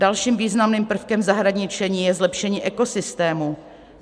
Dalším významným prvkem zahradničení je zlepšení ekosystému.